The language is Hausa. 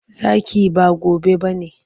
Zaki, ba gobe ba ne.